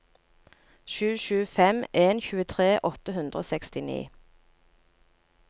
sju sju fem en tjuetre åtte hundre og sekstini